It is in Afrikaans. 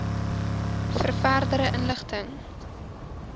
vir verdere inligting